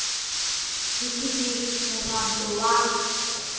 b c d mohwanto wa